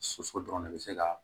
Soso dɔrɔn de bɛ se ka